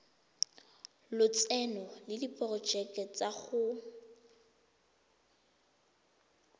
lotseno le diporojeke tsa go